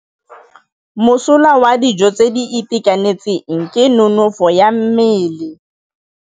Mosola wa dijô tse di itekanetseng ke nonôfô ya mmele.